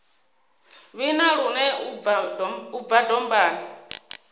vhina lune u bva dombani